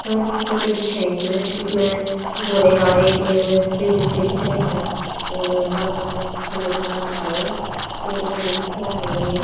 park की photo दिखे इसमें जिसमें घोड़े गाड़े के स्प्रिंग से दिख रहे हैं और बालका के खेलन का पार्क है यो पेड़ पौधे दिखे है हरे भरे --